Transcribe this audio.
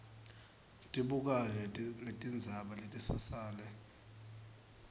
tibukane netindzaba letisasele